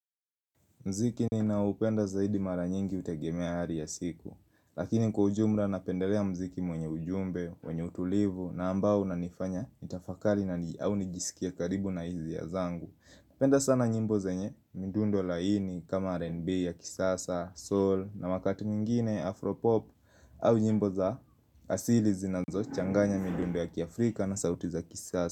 Mziki ninao upenda zaidi mara nyingi hutegemea hali ya siku Lakini kwa ujumla napendelea mziki mwenye ujumbe, mwenye utulivu na ambao unanifanya nitafakari au nijisikie karibu na hisia zangu Napenda sana nyimbo zenye, midundo laini kama RNB ya kisasa, soul na wakati mwingine Afropop au nyimbo za asili zinazo changanya midundo ya kiafrika na sauti za kisasa.